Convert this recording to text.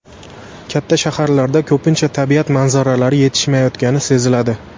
Katta shaharlarda ko‘pincha tabiat manzaralari yetishmayotgani seziladi.